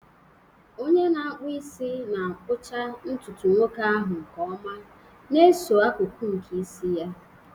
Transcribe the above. Onye na-akpụ isi na-akpụcha ntutu nwoke ahụ nke ọma, na-eso akụkụ nke isi ya.